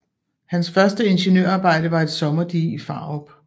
Hans første ingeniørarbejde var et sommerdige i Farup